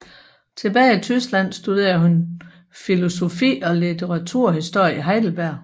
Tilbage i Tyskland studerede hun filosofi og litteraturhistorie i Heidelberg